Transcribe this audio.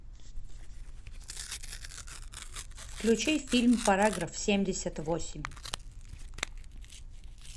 включи фильм параграф семьдесят восемь